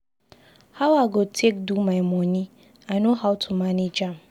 How I go take do my money? I know how to manage am.